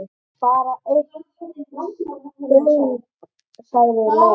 Bara eitt staup, sagði Lóa.